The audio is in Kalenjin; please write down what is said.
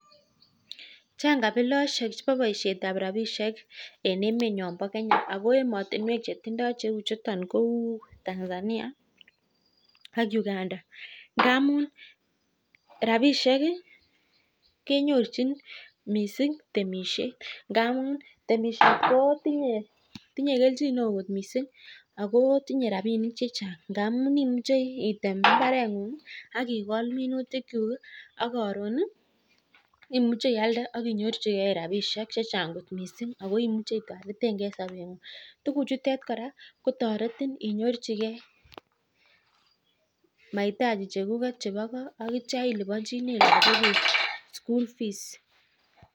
Chang kabiloshek chebo boishetab rabishek en emenyon bo Kenya ako emotunwek chetindo cheu chuton kou Tanzania ak Uganda ngamun rabishek kii kenyorchin missing temishet ngamun temishet kotinye neo kot missing ako tinye rabinik chechang ngamun imuche item imbarengung ak ikol minutik kuku kii ak koruni imuche ialde ak inyorchigee rabishek chechang kot missing ako imuche itoretengee en sobengug. Tukuk chutet koraa kotoretin inyorchigee maitachi chekuket chebo koo ak ityo iliponchine Lokok kuk school fees.